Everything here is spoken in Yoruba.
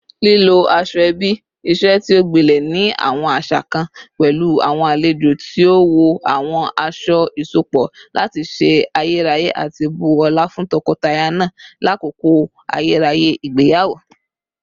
Lilo asoebi, iṣe ti o gbilẹ ni awọn aṣa kan, pẹlu awọn alejo ti o wọ awọn aṣọ iṣọpọ lati ṣe ayẹyẹ ati bu ọla fun tọkọtaya naa lakoko ayẹyẹ igbeyawo